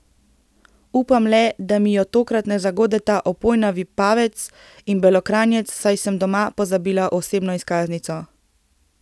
Upam le, da mi jo tokrat ne zagodeta opojna vipavec in belokranjec, saj sem doma pozabila osebno izkaznico.